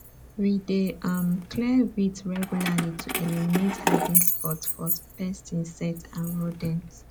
we dey um clear weeds regularly to eliminate hiding spots for pest insects and rodents